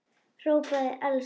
hrópaði Elsa.